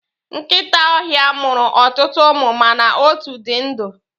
Nkịta ọhịa mụrụ ọtụtụ ụmụ mana otu di ndụ.